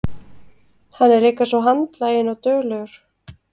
Hann er líka svo handlaginn og duglegur.